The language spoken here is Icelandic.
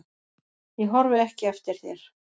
Ég horfi ekki eftir þér.